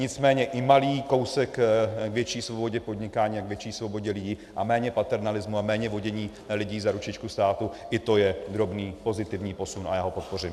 Nicméně i malý kousek k větší svobodě podnikání a k větší svobodě lidí a méně paternalismu a méně vodění lidí za ručičku státu, i to je drobný pozitivní posun a já ho podpořím.